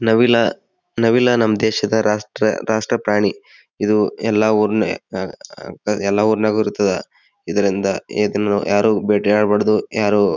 ನವಿಲ್ ನವಿಲ್ ನಮ್ಮ ದೇಶದ ರಾಷ್ಟ ರಾಷ್ಟ ಪ್ರಾಣಿ. ಇದು ಎಲ್ಲಾ ಉರ್ನೆ ಅಹ್ ಅಹ್ ಎಲ್ಲಾ ಉರನ್ಗ್ ಇರತ್ತದೆ. ಇದ್ರಿಂದ ಇದನ್ನು ಯಾರು ಭೇಟಿ ಆಡಬಾರದು ಯಾರು.